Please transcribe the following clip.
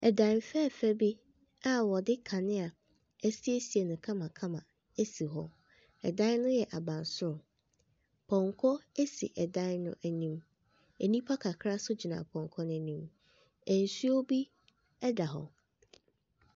Dan fɛɛfɛ bi a wɔde kanea siesie no kamakama si hɔ, dan ne yɛ abansoro. Pɔnkɔ si dan n’anim. Nnipa kakra nso gyina pɔnkɔ n’anim. Nsuo bi da hɔ.